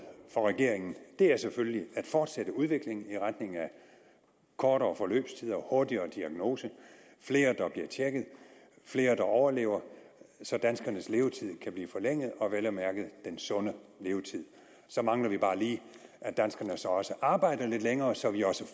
for regeringen er selvfølgelig at fortsætte udviklingen i retning af kortere forløbstider hurtigere diagnose flere der bliver tjekket flere der overlever så danskernes levetid kan blive forlænget og vel at mærke den sunde levetid så mangler vi bare lige at danskerne så også arbejder lidt længere så vi også